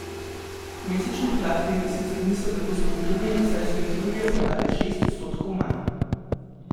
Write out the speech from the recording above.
Mesečni podatki sicer niso tako spodbudni, saj so jih julija prodali šest odstotkov manj.